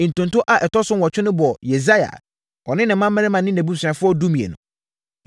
Ntonto a ɛtɔ so nwɔtwe no bɔɔ Yesaia, ɔne ne mmammarima ne nʼabusuafoɔ (12)